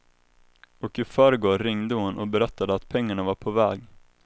Och i förrgår ringde hon och berättade att pengarna var på väg.